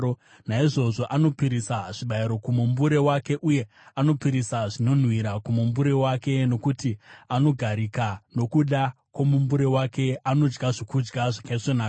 Naizvozvo anopisira zvibayiro kumumbure wake, uye anopisira zvinonhuhwira kumumbure wake, nokuti anogarika nokuda kwomumbure wake, anodya zvokudya zvakaisvonaka.